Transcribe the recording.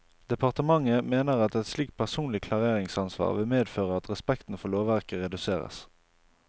Departementet mener at et slikt personlig klareringsansvar vil medføre at respekten for lovverket reduseres.